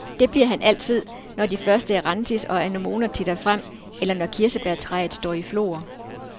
Det bliver han altid, når de første erantis og anemoner titter frem, eller når kirsebærtræet står i flor.